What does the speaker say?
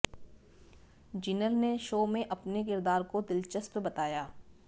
जीनल ने शो में अपने किरदार को दिलचस्प बताया